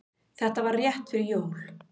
Þetta var rétt fyrir jól.